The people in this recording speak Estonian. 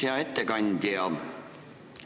Hea ettekandja!